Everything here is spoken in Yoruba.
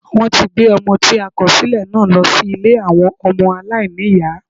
Wọ́n ti gbé Ọmọ tí a kòsílẹ̀ náà lọ sí Ilé àwọn ọmọ aláìníìyá